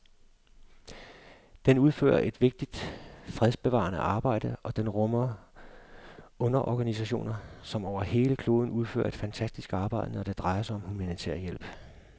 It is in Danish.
Den udfører et vigtigt fredsbevarende arbejde, og den rummer underorganisationer, som over hele kloden udfører et fantastisk arbejde, når det drejer sig om humanitær hjælp.